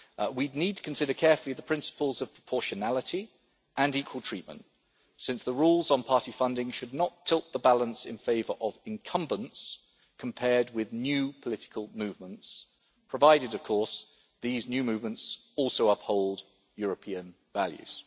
We need to consider carefully the principles of proportionality and equal treatment, since the rules on party funding should not tilt the balance in favour of incumbents, compared with new political movements, provided of course these new movements also uphold European values.